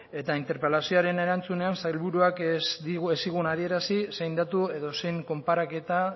eta interpelazioaren erantzunean sailburuak ez zigun adierazi zein datu edo zein konparaketa